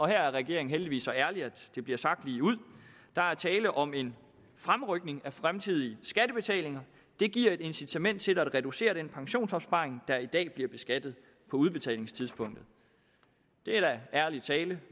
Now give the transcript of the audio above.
her er regeringen heldigvis så ærlig at det bliver sagt ligeud der er tale om en fremrykning af fremtidige skattebetalinger det giver et incitament til at reducere den pensionsopsparing der i dag bliver beskattet på udbetalingstidspunktet det er da ærlig tale